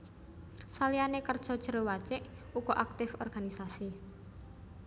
Saliyane kerja Jero Wacik uga aktif organisasi